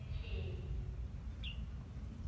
etyhini